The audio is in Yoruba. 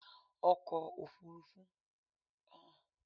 Ọkọ̀ òfurufú leè jẹ́ ki àrá sán